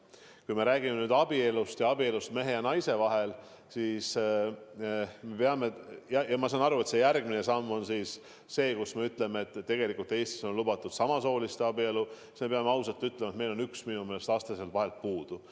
Kui me räägime nüüd abielust, abielust mehe ja naise vahel, siis ma saan aru, et järgmine samm on öelda, et tegelikult Eestis on lubatud samasooliste abielu, aga tuleb ausalt tunnistada, et meil on üks aste sealt vahelt puudu.